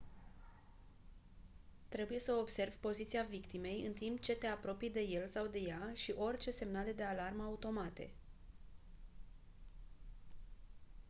trebuie să observi poziția victimei în timp ce te apropii de el sau de ea și orice semnale de alarmă automate